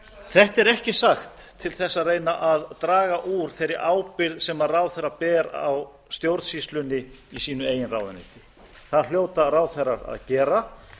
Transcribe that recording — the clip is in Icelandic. þetta er ekki sagt til þess að reyna að draga úr þeirri ábyrgð sem ráðherra ber á stjórnsýslunni í sínu eigin ráðuneyti það hljóta ráðherrar að gera